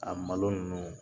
A malo ninnu